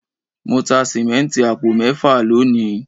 Mo ta sìmẹ́ǹtì àpò mẹ́fà lónìí.